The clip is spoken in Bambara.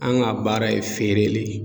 An ka baara ye feere le ye.